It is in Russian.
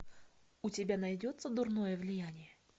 у тебя найдется дурное влияние